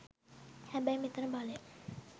හැබැයි මෙතන බලය